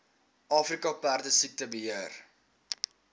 afrika perdesiekte beheer